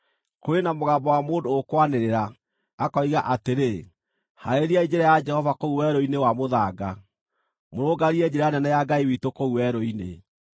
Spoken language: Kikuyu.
Kũrĩ na mũgambo wa mũndũ ũkwanĩrĩra, akoiga atĩrĩ: “Haarĩriai njĩra ya Jehova kũu werũ-inĩ wa mũthanga, mũrũngarie njĩra nene ya Ngai witũ kũu werũ-inĩ.